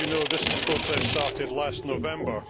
As you know, this process started last November.